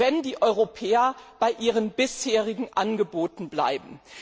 wenn die Europäer bei ihren bisherigen Angeboten bleiben.